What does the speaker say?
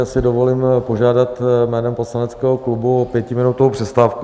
Já si dovolím požádat jménem poslaneckého klubu o pětiminutovou přestávku.